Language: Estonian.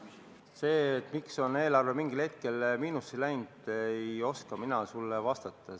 Sellele küsimusele, miks on eelarve mingil hetkel miinusesse läinud, ei oska mina sulle vastata.